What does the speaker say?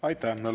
Aitäh!